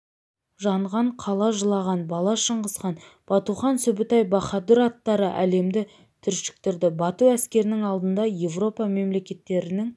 жанған қала жылаған бала шыңғысхан батухан сүбітай баһадур аттары әлемді түршіктірді бату әскерінің алдында европа мемлекеттерінің